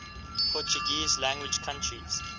portuguese language countries